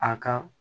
A ka